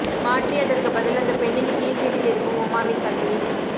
மாற்றி அதற்கு பதில் அந்த பெண்ணின் கீழ் வீட்டில் இருக்கும் உமாவின் தங்கையின்